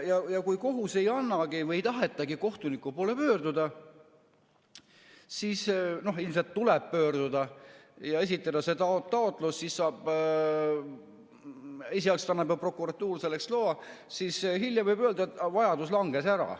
Ja kui kohus ei anna või ei taheta kohtuniku poole pöörduda, siis ilmselt tuleb pöörduda ja esitada see taotlus, esialgselt annab prokuratuur selleks loa, siis hiljem võib öelda, et vajadus langes ära.